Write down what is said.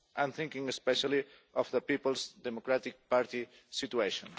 I am thinking especially of the People's Democratic Party situation.